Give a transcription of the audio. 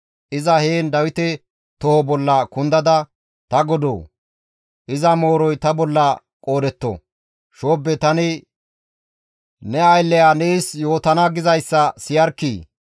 Iza heen Dawite toho bolla kundada, «Ta godoo! Iza mooroy ta bolla qoodetto; shoobbe tani ne aylley nees yootana gizayssa siyarkkii!